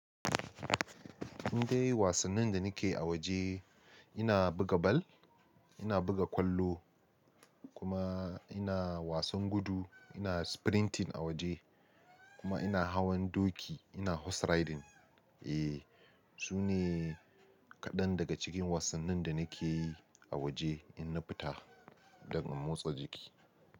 Ni dai wasannin da nake yi a waje ina buga ball, ina buga ƙwallo kuma ina wasan gudu, ina sprinting a waje kuma ina hawan doki, ina horse riding. Eh, sune kaɗan daga cikin wasannin da nake yi a waje in na fita daga motsa jiki.